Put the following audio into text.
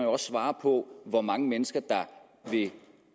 også svare på hvor mange mennesker det